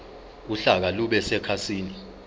uhlaka lube sekhasini